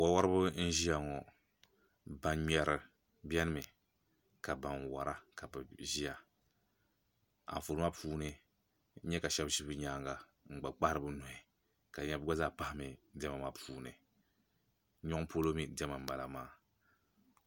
Wo woribi n ʒiya ŋo ban ŋmɛri biɛni mi ka ban wora ka bi ʒiya Anfooni maa puuni n nyɛ ka shab ʒi bi nyanga n gba kpahari bi nuhi ka di nyɛla bi gba zaa pahami diɛma maa puuni nyoŋ polo mii diɛma n bala